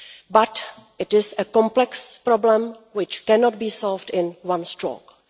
But it is a complex problem which cannot be solved at one stroke.